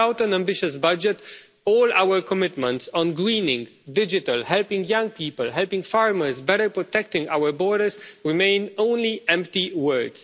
Without an ambitious budget all our commitments on greening, digital, helping young people, helping farmers, better protecting our borders, remain only empty words.